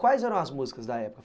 Quais eram as músicas da época?